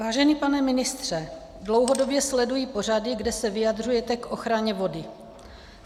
Vážený pane ministře, dlouhodobě sleduji pořady, kde se vyjadřujete k ochraně vody.